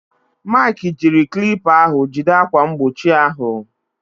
Maịkị jiri klipa ahụ jide ákwà mgbochi ahụ.